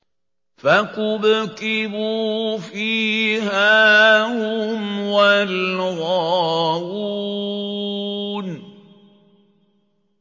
فَكُبْكِبُوا فِيهَا هُمْ وَالْغَاوُونَ